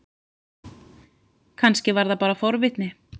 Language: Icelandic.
Kannski var það bara forvitni.